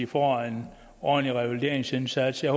få en ordentlig revalideringsindsats jeg